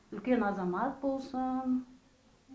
үлкен азамат болсын